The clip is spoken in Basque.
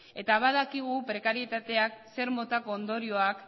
eta badakigu prekarietateak zer motako ondorioak